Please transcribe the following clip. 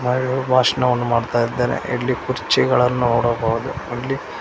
ಮಹಿಳೆಯು ಭಾಷಣವನ್ನು ಮಾಡ್ತಾ ಇದ್ದಾರೆ ಇಲ್ಲಿ ಕುರ್ಚಿಗಳನ್ನು ನೋಡಬಹುದು ಇಲ್ಲಿ--